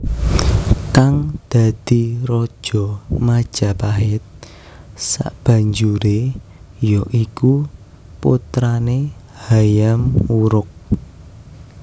Kang dadi raja Majapahit sabanjure ya iku putane Hayam Wuruk